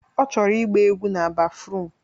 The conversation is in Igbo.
Ọ chọrọ ịgba egwu na bafruum